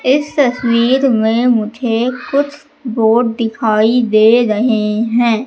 इस तसवीर में मुझे कुछ बोर्ड दिखाई दे रहे है।